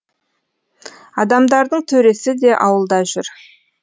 адамдардың төресі де ауылда жүр